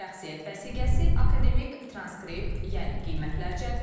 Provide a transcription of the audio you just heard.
Şəxsiyyət vəsiqəsi, akademik transkript, yəni qiymətlər cədvəli,